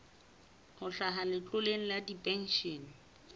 ho hlaha letloleng la dipenshene